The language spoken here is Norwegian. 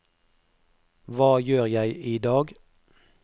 hva gjør jeg idag